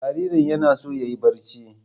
Jaririn yana so yayi barci.